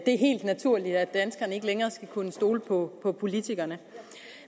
er helt naturligt at danskerne ikke længere skal kunne stole på politikerne